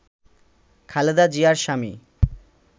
খালেদা জিয়ার স্বামী